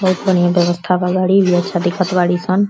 बहोत बढ़ियाँ व्यवस्था बा। गाड़ी बिया अच्छा देखत बाड़ी सन।